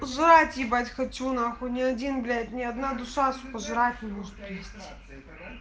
жрать ебать хочу на хуй не один блять не одна душа сука пожрать не может привезти